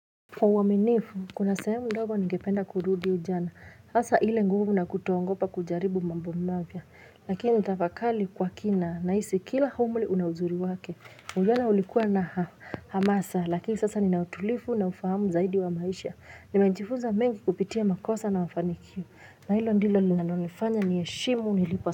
Kwa uaminifu, kuna sehemu ndogo ningependa kurudia jana, hasa ile nguvu na kutooagopa kujaribu mambo mapya, lakini tafakari kwa kina, nahisi kila umri una uzuri wake, ujana ulikuwa na hamasa, lakini sasa nina utulivu na ufahamu zaidi wa maisha, nimejifunza mengi kupitia makosa na mafanikio, na hilo ndilo linonifanya niheshimu nilipo.